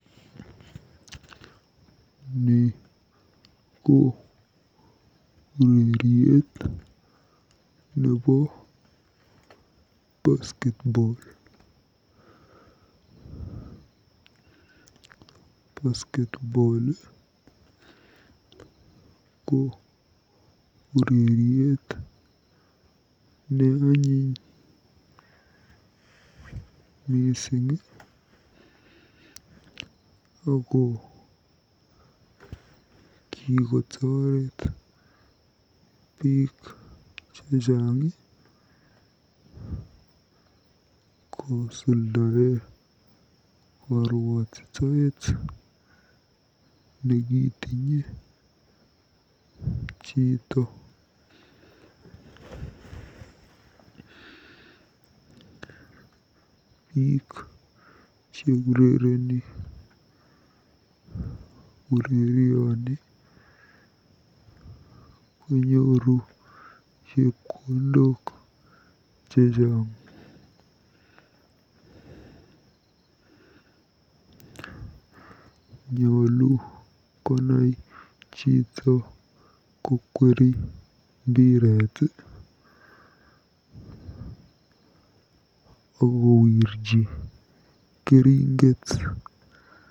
Ni ko ureriet nebo basketball. Basketball ko ureriet neanyiny mising ako kikotoret biik chechang kosoldae koruotitoet nekitinye chito. Biik cheurereni urerioni konyooru chepkondok chechang. Nyoolu konai chito kokweri mbiret akowirji keringet.